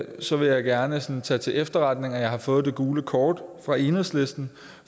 så vil jeg gerne tage til til efterretning at jeg har fået det gule kort fra enhedslisten